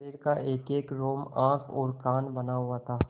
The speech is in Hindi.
शरीर का एकएक रोम आँख और कान बना हुआ था